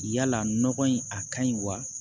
Yala nɔgɔ in a ka ɲi wa